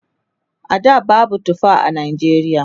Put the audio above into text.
a da babu tufa a Najeriya